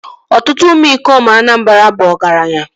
Ọtụtụ ụmụ ikom Anamabra bu ọgaranya